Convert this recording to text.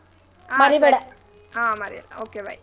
ಹಾ ಹಾ ಮರ್ಯಲ್ಲ. okay bye .